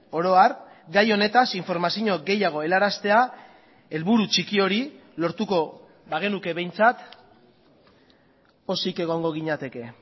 oro har gai honetaz informazio gehiago helaraztea helburu txiki hori lortuko bagenuke behintzat pozik egongo ginateke